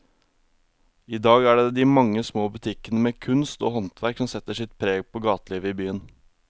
I dag er det de mange små butikkene med kunst og håndverk som setter sitt preg på gatelivet i byen.